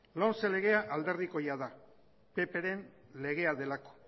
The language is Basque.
lomce legea alderdikoia da ppren legea delako